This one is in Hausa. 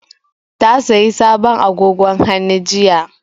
Ta sayi sabon agogon hannu jiya